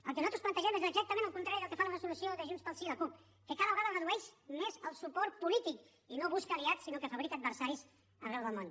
el que nosaltres plantegem és exactament el contrari del que fa la resolució de junts pel sí i la cup que cada vegada es redueix més el suport polític i no busca aliats sinó que fabrica adversaris arreu del món